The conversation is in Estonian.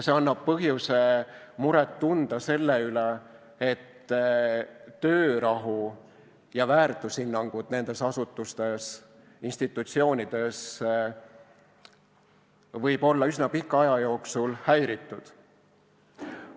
See annab põhjuse muret tunda selle üle, et töörahu ja väärtushinnangud nendes asutustes-institutsioonides võib olla üsna pika aja jooksul häiritud.